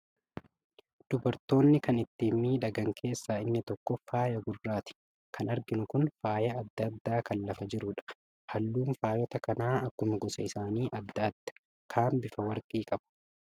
Dubartoonni kan ittiin miidhagan keessaa inni tokko faay gurraati. Kan arginu kun faaya adda addaa kan lafa jirudha. Halluun faayota kanaa akkuma gosa isaanii adda adda. Kaan bifa warqii qaba.